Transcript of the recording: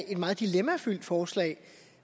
et meget dilemmafyldt forslag